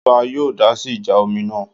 Ṣé ọba yóò dásí ìjà omi náà?